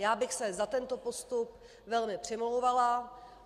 Já bych se za tento postup velmi přimlouvala.